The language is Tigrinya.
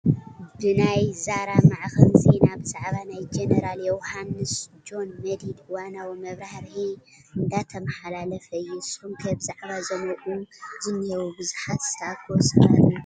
ብናይ ዛራ ማዕኸን ዜና ብዛዕባ ናይ ጀነራል ዮሃንስ (ጆን መዲድ) እዋናዊ መብራህርሂ እንዳተማሓላለፈ እዩ፡፡ ንስኹም ከ ብዛዕባ እዞም ኣብኡ ዝኒሄው ብዙሓት ዝተኣከቡ ሰባት እንታይ ሓሳብ ኣለኩም?